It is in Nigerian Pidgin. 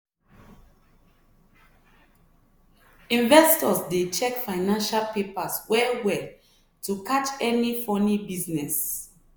investors dey check financial papers well well to catch any funny business.